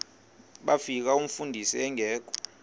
bafika umfundisi engekho